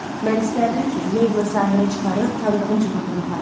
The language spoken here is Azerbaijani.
Mən istərdim ki, Meyblı sahilə çıxarıb tanıdığım cığırnan aparım.